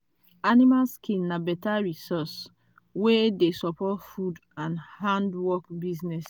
animal skin na better resource wey dey support food and handwork business.